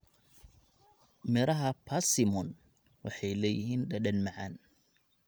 Midhaha persimmon waxay leeyihiin dhadhan macaan.